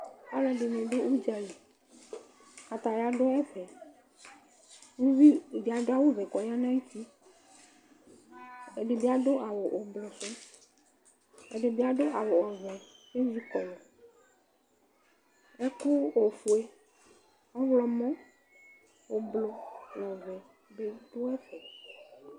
aloɛdini do udzali kataya do ɛfɛ uvi di ado awu vɛ k'ɔya n'ayiti ɛdi bi ado awu ublɔ sò ɛdi bi ado awu ɔvɛ k'ezi kɔlu ɛkò ofue ɔwlɔmɔ ublɔ n'ɔvɛ di do ɛfɛ